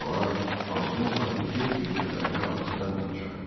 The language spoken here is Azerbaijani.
Soralar, pansion sahibi tez bir kədərli hadisədən danışar.